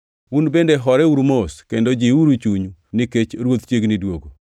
Un bende horeuru mos, kendo jiwuru chunyu, nikech Ruoth chiegni duogo.